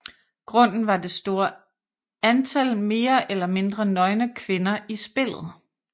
Grunden var det store antal mere eller mindre nøgne kvinder i spillet